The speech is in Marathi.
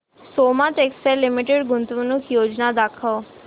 सोमा टेक्सटाइल लिमिटेड गुंतवणूक योजना दाखव